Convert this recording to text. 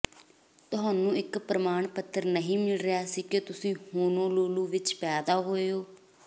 ਤੁਹਾਨੂੰ ਇਕ ਪ੍ਰਮਾਣ ਪੱਤਰ ਨਹੀਂ ਮਿਲ ਰਿਹਾ ਸੀ ਕਿ ਤੁਸੀਂ ਹੋਨੋਲੁਲੂ ਵਿਚ ਪੈਦਾ ਹੋਏ ਹੋ